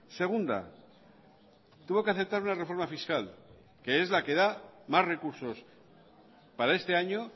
segunda tuvo que aceptar una reforma fiscal que es la que da más recursos para este año